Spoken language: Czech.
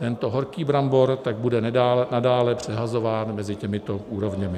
Tento horký brambor tak bude nadále přehazován mezi těmito úrovněmi.